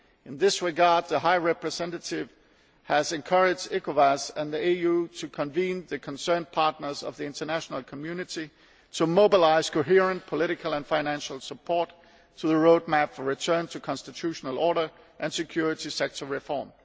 In this regard, the High Representative has encouraged ECOWAS and the AU to bring the concerned partners of the international community together to mobilise coherent political and financial support for the roadmap for return to constitutional order and security sector reform.